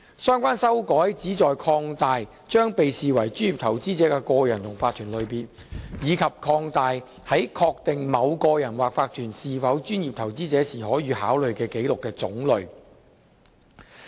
相關修改旨在擴大將被視為專業投資者的個人及法團的類別，以及擴大在確定某個人或法團是否專業投資者時可予考慮的紀錄的種類。